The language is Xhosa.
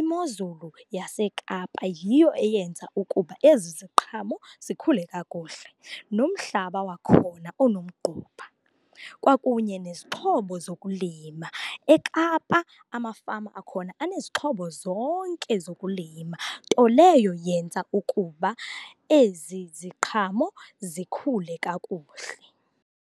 Imozulu yaseKapa yiyo eyenza ukuba ezi ziqhamo zikhule kakuhle nomhlaba wakhona onomgquba, kwakunye nezixhobo zokulima. E-Kapa amafama wakhona anezixhobo zonke zokulima, nto leyo yenza ukuba ezi ziqhamo zikhule kakuhle.